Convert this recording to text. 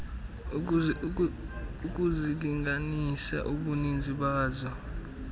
ukuzilinganisa ubuninzi bazo